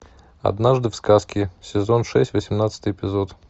однажды в сказке сезон шесть восемнадцатый эпизод